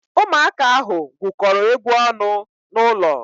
Ụmụaka ahụ gwukọrọ egwu ọnụ n'ụlọ.